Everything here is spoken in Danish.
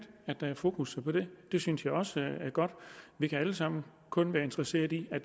at der er fokus på det det synes jeg også er godt vi kan alle sammen kun være interesseret i at